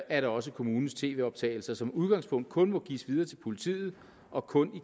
at også kommunens tv optagelser som udgangspunkt kun må gives videre til politiet og kun